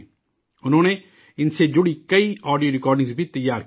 انہوں نے ان سے جڑی کئی آڈیو ریکارڈنگ بھی تیار کی ہیں